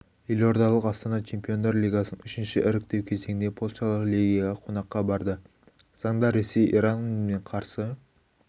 елордалық астана чемпиондар лигасының үшінші іріктеу кезеңінде польшалық легияға қонаққа барды заңда ресей иран мен қарсы